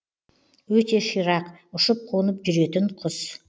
өте ширақ ұшып қонып жүретін құс